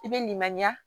I bɛ nin maɲiya